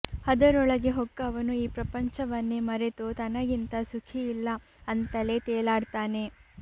ಅದರೊಳಗೆ ಹೊಕ್ಕವನು ಈ ಪ್ರಪಂಚವನ್ನೇ ಮರೆತು ತನಗಿಂತ ಸುಖಿಯಿಲ್ಲ ಅಂತಲೇ ತೇಲಾಡ್ತಾನೆ